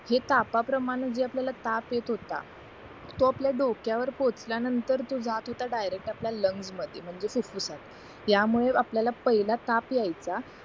हे तापा प्रमाणे जे आपल्याला ताप जे आपल्याला ताप येत होता तो आपल्या डोक्या वर पोचल्या नतंर तर तो डायरेक्ट आपल्या लंग्स मध्ये म्हणजे फुफुसात त्या मुळे आपल्याला पहिला ताप यायचा